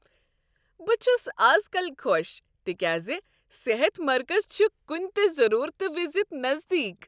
بہٕ چھس از کل خوش تکیاز صحت مرکز چھ کنہ تہ ضرورتہٕ وِزِ نزدیک۔